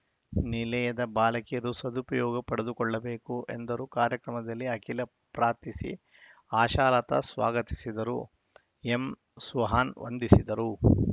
ನಿಲಯದ ಬಾಲಕಿಯರು ಸದುಪಯೋಗ ಪಡೆದುಕೊಳ್ಳಬೇಕು ಎಂದರು ಕಾರ್ಯಕ್ರಮದಲ್ಲಿ ಅಖಿಲಾ ಪ್ರಾರ್ಥಿಸಿ ಆಶಾಲತಾ ಸ್ವಾಗತಿಸಿದರು ಎಂಸುಹಾನ್ ವಂದಿಸಿದರು